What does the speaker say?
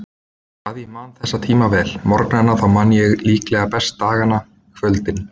Hvað ég man þessa tíma vel: morgnana þá man ég líklega best dagana, kvöldin.